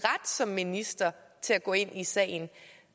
som minister til at gå ind i sagen